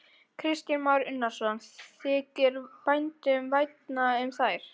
Kristján Már Unnarsson: Þykir bændum vænna um þær?